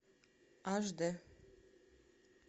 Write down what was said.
аш дэ